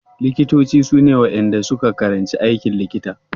Likitoci su ne waɗanda su ka karanci aikin likita.